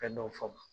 Fɛn dɔw f'a ma